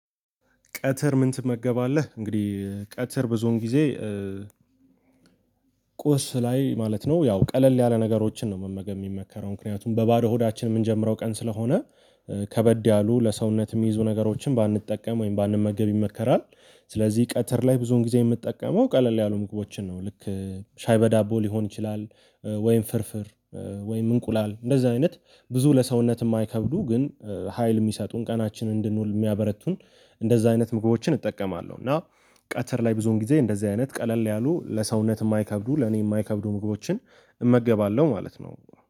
ቀትር ምን ትመገባለህ? እንግዲህ ቀትር ብዙን ጊዜ ቁርስ ላይ ማለት ነው ያው ቀለል ያለ ነገሮችን ነው መመገብ የሚመከረው ምክንያቱም በባዶ ሆዳችን የምንጀምረው ቀን ስለሆነ ከበድ ያሉ ለሰውነት የሚይዙ ነገሮችን ባንጠቀም ወይም ባንመገብ ይመከራል። ስለዚህ ቀትር ላይ ብዙን ጊዜ የምጠቀመው ቀለል ያሉ ምግቦችን ነው ልክ ሻይ በዳቦ ሊሆን ይችላል ወይም ፍርፍር ወይም እንቁላል እንደዛ አይነት ብዙ ለሰውነት የማይከብዱ ግን ሀይል የሚሰጡን ቀናችን እንድንውል የሚያበረቱን እንደዚህ አይነት ምግቦችን እጠቀማለሁ። እና ቀትር ላይ ብዙን ጊዜ እንደዚህ አይነት ቀለል ያሉ ለሰውነት የማይከብዱ ለኔ የማይከብዱ ምግቦችን እመገባለሁ ማለት ነው